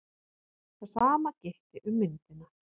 Það sama gilti um myndina.